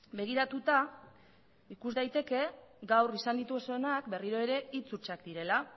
begiratuta ikus daiteke gaur izan dituzuenak berriro ere hitz hutsak direla